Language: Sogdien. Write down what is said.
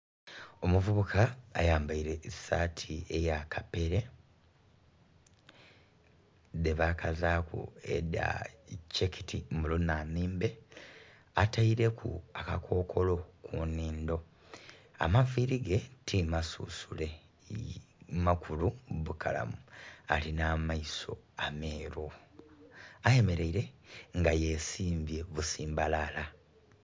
Omuvubuka ayambaile esaati eya kapere dhebakazaaku edha checked mu lunanhimbe ataileku akakokolo ku nhindho. Amaviiri ge timasusule makulu bukalamu. Alina amaiso ameeru. Ayemeleile nga yesimbye busimbalaala.